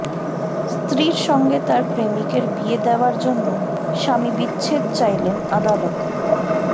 স্ত্রীর সঙ্গে তার প্রেমিকের বিয়ে দেওয়ার জন্য স্বামী বিচ্ছেদ চাইলেন আদালতে